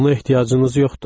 Buna ehtiyacınız yoxdur.